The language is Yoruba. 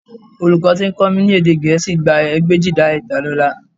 Olùkọ́ tí ó ń kọ́ mi ní èdè Gẹ̀ẹ́sì gba ẹgbẹ̀éjìlá ìdálọ́lá